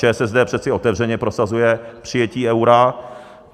ČSSD přeci otevřeně prosazuje přijetí eura.